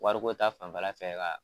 Wariko ta fanfɛla fɛ ka.